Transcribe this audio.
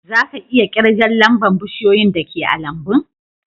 Za ka iya kirgan lamba'n bushiyoyin da ke a'lambun?